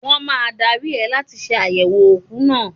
Wọ́n máa dári ẹ láti ṣe àyẹ̀wò òkú náà.